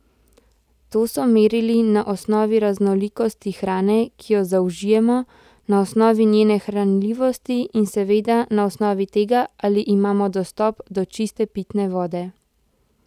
To so merili na osnovi raznolikosti hrane, ki jo zaužijemo, na osnovi njene hranljivosti in seveda na osnovi tega, ali imamo dostop do čiste pitne vode.